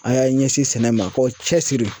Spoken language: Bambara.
A y'a ɲɛsin sɛnɛ ma k'o cɛsiri